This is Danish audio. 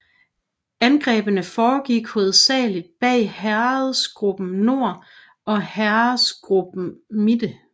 Angrebene foregik hovedsageligt bag Heeresgruppe Nord og Heeresgruppe Mitte